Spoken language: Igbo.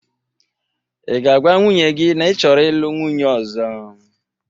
Ị ga-agwa nwunye gị na ị chọrọ ịlụ nwunye ọzọ?